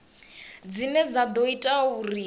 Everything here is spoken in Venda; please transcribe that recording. dzine dza ḓo ita uri